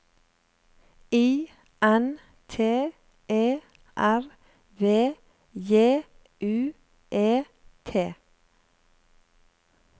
I N T E R V J U E T